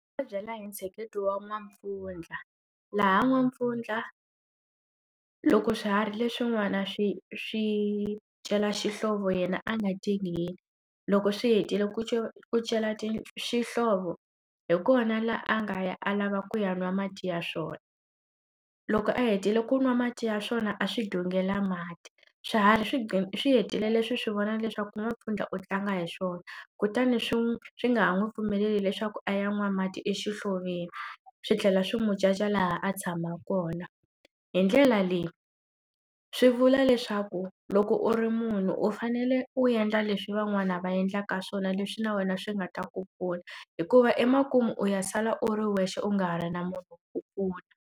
Ndzi nga byela hi ntsheketo wa N'wampfundla laha N'wampfundla loko swiharhi leswi n'wana swi swi cela xihlovo yena a nga tingeni loko swi hetile ku celecela ta xihlovo hi kona laha a nga ya a lava ku ya n'wa mati ya swona loko a hetile ku nwa mati ya swona a swi dongela mati swiharhi swi swi hetile leswi swi vona leswaku N'wampfundla u tlanga hi swona kutani swi n'wi swi nga ha n'wi pfumeleli leswaku a ya n'wana mati exihloveni swi tlhela swi n'wi caca laha a tshama kona hi ndlela leyi swi vula leswaku loko u ri munhu u fanele u endla leswi van'wana va endlaka swona leswi na wena swi nga ta ku pfuna hikuva emakumu u ya sala u ri wexe u nga ha ri na mhunu ku ku pfuna.